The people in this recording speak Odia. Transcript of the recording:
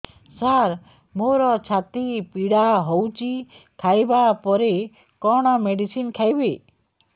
ସାର ମୋର ଛାତି ପୀଡା ହଉଚି ଖାଇବା ପରେ କଣ ମେଡିସିନ ଖାଇବି